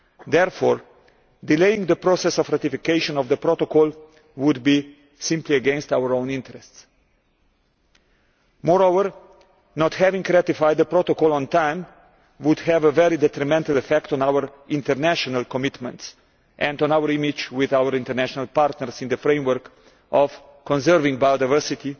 Therefore, delaying the process of ratification of the Protocol would simply be against our own interests. Moreover, not having ratified the Protocol on time would have a very detrimental effect on our international commitments and on our image with our international partners in the framework of conserving biodiversity,